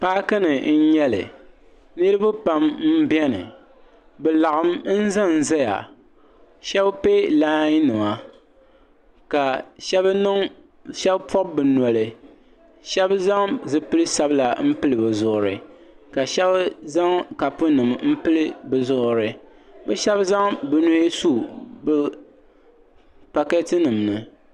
Paaki ni n nyɛli niriba pam n bɛni bi laɣim n za n zaya shɛba piɛ laayi nima ka shɛba pɔbi bi noli shɛba zaŋ zipili sabila n pili bi zuɣiri ka shɛba zaŋ kapu nim n pili bi zuɣiri bi shɛba zaŋ bini n su bi pakɛɛti nim ni.